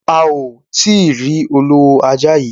A ò ti rí olówó ajá yií.